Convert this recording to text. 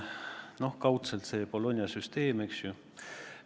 No kaudselt see Bologna süsteem, eks ju.